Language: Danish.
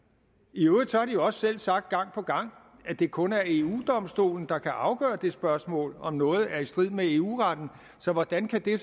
i øvrigt har de også selv sagt gang på gang at det kun er eu domstolen der kan afgøre det spørgsmål om noget er i strid med eu retten så hvordan kan det